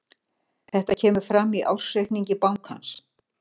Þetta kemur fram í ársreikningi bankans